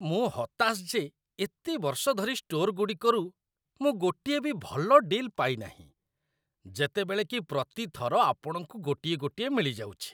ମୁଁ ହତାଶ ଯେ ଏତେ ବର୍ଷ ଧରି ଷ୍ଟୋରଗୁଡ଼ିକରୁ ମୁଁ ଗୋଟିଏ ବି ଭଲ ଡିଲ୍ ପାଇନାହିଁ, ଯେତେବେଳେ କି ପ୍ରତି ଥର ଆପଣଙ୍କୁ ଗୋଟିଏ ଗୋଟିଏ ମିଳିଯାଉଛି।